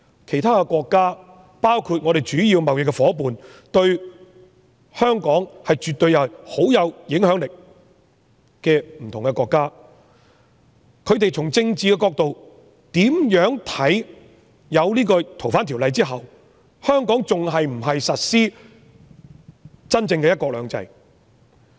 其他國家，包括我們主要的貿易夥伴、對香港十分有影響力的不同國家，從政治角度，會否認為修訂《逃犯條例》後，香港仍然實施真正的"一國兩制"呢？